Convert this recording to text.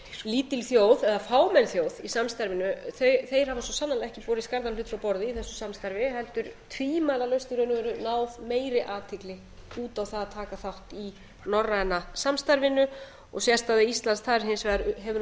lítil þjóð eða fámenn þjóð í samstarfinu þeir hafa svo sannarlega ekki borið skarðan hlut frá borði í þessu samstarfi heldur tvímælalaust í raun og veru náð meiri athygli út á það að taka þátt í norræna samstarfinu og sérstaða íslands þar hins vegar hefur